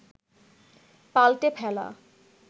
পাল্টে ফেলা